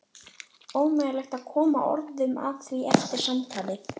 Ómögulegt að koma orðum að því eftir samtalið.